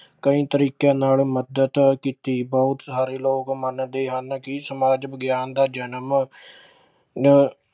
ਕਈ ਤਰੀਕਿਆਂ ਨਾਲ ਮੱਦਦ ਕੀਤੀ, ਬਹੁਤ ਸਾਰੇ ਲੋਕ ਮੰਨਦੇ ਹਨ ਕਿ ਸਮਾਜ ਵਿਗਿਆਨ ਦਾ ਜਨਮ